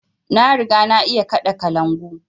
Na riga na iya kaɗa kalangu